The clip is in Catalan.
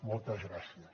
moltes gràcies